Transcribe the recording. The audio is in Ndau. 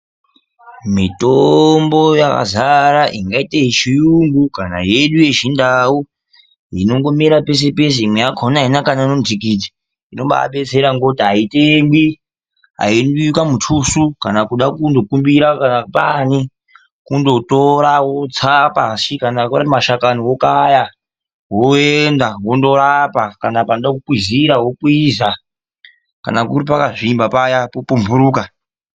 Mitombo yazara ingaita yechiyungu kana yedu yechiNdau inongomera pese-pese imwe yakona haina kana ngnhikiti. Inobaadetsera ngokuti haitengwi. Haidiwi kamutusu kana kuda kunokumbira kana paani. Kundotora wotsa pashi. Kana ari mashakani wokaya woenda wondorapa. Kana panoda kukwizira wokwiza. Kana kuri pakazvimba paya popumhuruka.